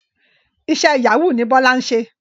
Iṣẹ́ Yahoo ni Bọ́lá ń ṣe